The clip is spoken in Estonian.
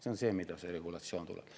See on see, mida see regulatsioon teeb.